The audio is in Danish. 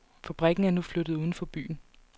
Fabrikken er nu flyttet uden for byen.